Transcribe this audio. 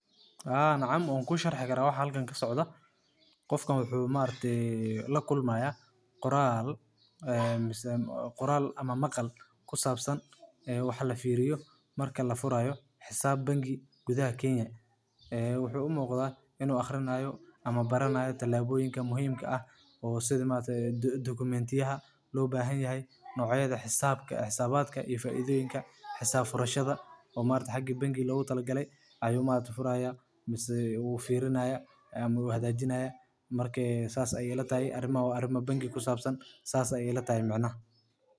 Haa, nacam waankusharxi yaraa waxa halkan kasocda. qofka wuxu maaragtey lakulmaya qoraal ee mise maqal kusaabsan walfiriyo marka lafuraayo xisaab bangi gudhaha kenya ee wuxu umuqda inuu aqrinayo ama baranaayo talaaboyinka muhiimka ah oo sidha dokumentyaha loobahanyahy noocyadha xisaabadka iyo faaidhoyinka xisaab furashada oo xaga bangiga logatilagaley ayuu furaha mise firinaya ama hagaajinaya marka saas ayeey ilatahy arimo bangi kusaabsan saas ayeey ilatahy macanaha.